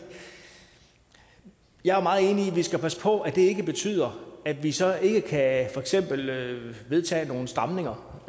jeg er meget enig i at vi skal passe på at det ikke betyder at vi så ikke kan vedtage nogle stramninger